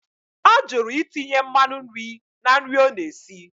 Ọ jụrụ itinye mmanụ nri na nri ọ na-esi.